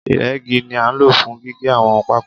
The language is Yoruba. Ìrẹ́gi ni a nlo fún gígé àwọn pákó